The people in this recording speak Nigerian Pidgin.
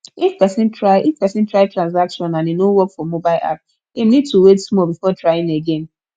if person try if person try transaction and e no work for mobile app im need to wait small before trying again